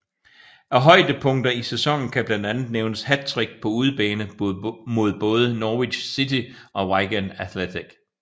Af højdepunkter i sæsonen kan blandt andet nævnes hattrick på udebane mod både Norwich City og Wigan Athletic